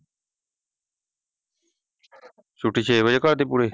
ਛੁਟੀ ਛੇ ਵਜੇ ਕਰ ਦੀ ਪੂਰੇ।